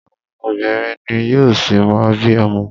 Àwọn obìnrin ni yóò ṣi má bí ọmọ.